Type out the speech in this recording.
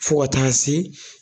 Fɔ ka taa se